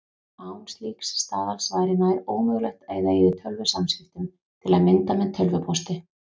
Án slíks staðals væri nær ómögulegt að eiga í tölvusamskiptum, til að mynda með tölvupósti.